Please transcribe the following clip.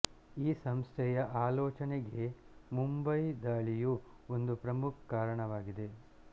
ಈ ಸಂಸ್ಥೆಯ ಆಲೋಚನೆಗೆ ಮುಂಬೈ ದಾಳಿಯು ಒಂದು ಪ್ರಮುಖ ಕಾರಣವಾಗಿದೆ